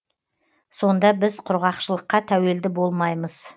сонда біз құрғақшылыққа тәуелді болмаймыз